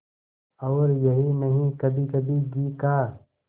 और यही नहीं कभीकभी घी का